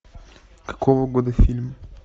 какого года фильм